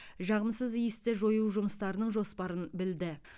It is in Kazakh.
жағымсыз иісті жою жұмыстарының жоспарын білді